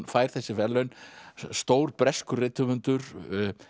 fær þessi verðlaun stór breskur rithöfundur